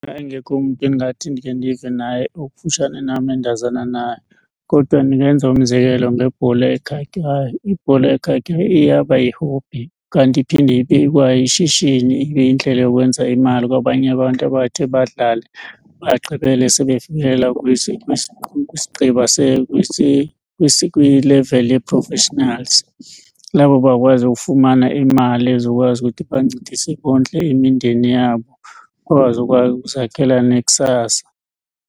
engekho umntu endingathi ndikhe ndive naye okufutshane nam endazana naye kodwa ndingenza umzekelo ngebhola ekhatywayo. Ibhola ekhatywayo iyaba yi-hobby kanti iphinde ibe kwayishishini, ibe yindlela yokwenza imali kwabanye abantu abathe badlale bagqibele sebefikelela kwileveli ye-professionals. Labo bakwazi ukufumana imali ezokwazi ukuthi ibancedise bondle imindeni yabo, bakwazi ukuzakhela nekusasa.